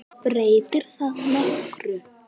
Breytir það nokkru?